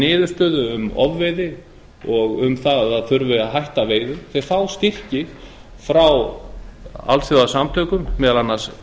niðurstöðu um ofveiði og um það að hætta þurfi veiðum þeir fá styrki frá alþjóðasamtökum meðal annars